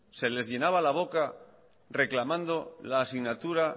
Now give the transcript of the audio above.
se les llenaba la boca reclamando la asignatura